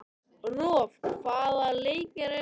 Rolf, hvaða leikir eru í kvöld?